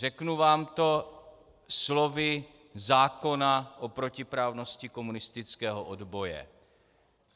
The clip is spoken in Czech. Řeknu vám to slovy zákona o protiprávnosti komunistického odboje.